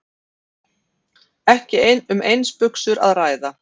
Ekki um eins buxur að ræða